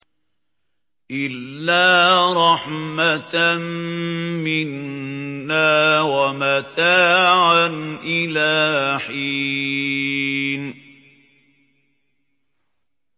إِلَّا رَحْمَةً مِّنَّا وَمَتَاعًا إِلَىٰ حِينٍ